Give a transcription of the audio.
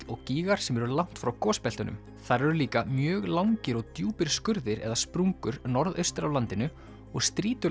og gígar sem eru langt frá þar eru líka mjög langir og djúpir skurðir eða sprungur norðaustur af landinu og